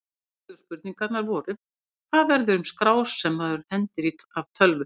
Upphaflegu spurningarnar voru: Hvað verður um skrár sem maður hendir af tölvu?